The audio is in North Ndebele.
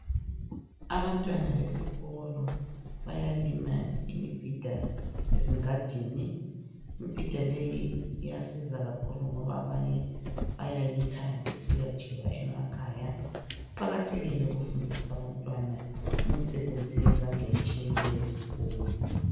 Abantwana besikolo bayalima imibhida ezingadini. Imbhida leyi iyasiza kakhulu ngoba abanye bayayikha besiya tsheba emakhaya. Kuqakathekile ukufundisa abantwana imisebenzi yezandla etshiyeneyo esikolo.